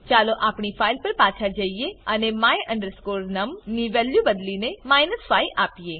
ચાલો આપણી ફાઈલ પર પાછા જઈએ અને my num ની વેલ્યુ બદલીને 5 આપીએ